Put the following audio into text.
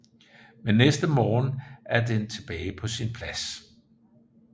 Men næste morgen er den tilbage på sin plads